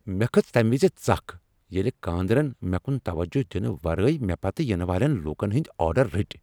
مےٚ کھٔژ تمہ وز ژکھ ییٚلہ کاندرن مےٚ کُن توجہ دنہ ورٲے مےٚ پتہٕ ینہٕ والین لوکن ہنٛدۍ آرڈر رٔٹۍ۔